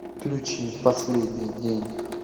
включи последний день